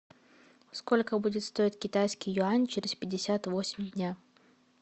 сколько будет стоить китайский юань через пятьдесят восемь дня